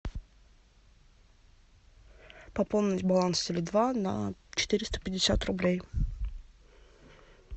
пополнить баланс теле два на четыреста пятьдесят рублей